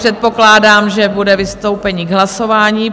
Předpokládám, že bude vystoupení k hlasování.